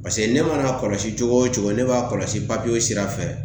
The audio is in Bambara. Paseke ne mana kɔlɔsi cogo wo cogo, ne b'a kɔlɔsi papiyew sira fɛ.